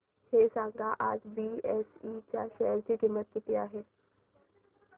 हे सांगा की आज बीएसई च्या शेअर ची किंमत किती आहे